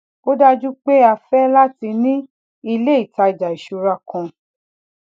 ó dájú pé a fé láti ní ilé ìtajà ìṣúra kan